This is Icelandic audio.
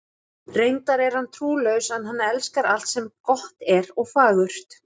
Reyndar er hann trúlaus, en hann elskar alt sem gott er og fagurt.